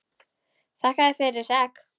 Þakka þér fyrir þessi egg.